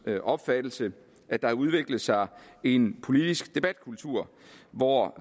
opfattelse at der har udviklet sig en politisk debatkultur hvor